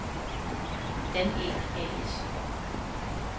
Danæg A/S